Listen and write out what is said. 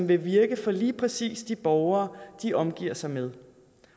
vil virke for lige præcis de borgere de omgiver sig med